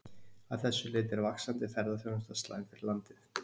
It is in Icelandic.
Að þessu leyti er vaxandi ferðaþjónusta slæm fyrir landið.